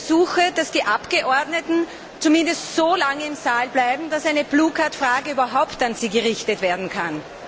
Ich ersuche, dass die Abgeordneten zumindest so lange im Saal bleiben, dass eine Frage überhaupt an sie gerichtet werden kann.